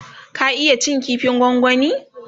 ka iya cin kifin gwangwani?